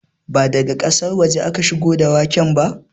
Ba daga ƙasar waje aka shigo da waken ba